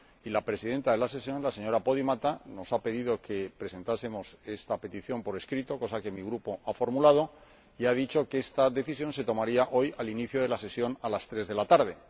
La Presidenta de la sesión, la señora Podimata, nos ha pedido que presentásemos esta petición por escrito, cosa que mi Grupo ha formulado, y ha dicho que esta decisión se tomaría hoy al inicio de la sesión a las tres de la tarde.